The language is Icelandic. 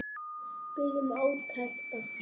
Við biðum átekta.